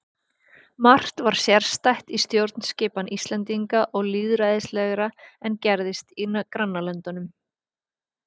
Margt var sérstætt í stjórnskipan Íslendinga og lýðræðislegra en gerðist í grannlöndunum.